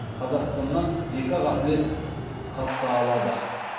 қазақстаннан екі ақ атлет қатыса алады